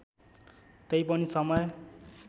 तै पनि समय